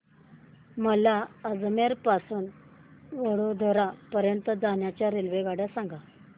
मला अजमेर पासून तर वडोदरा पर्यंत च्या रेल्वेगाड्या सांगा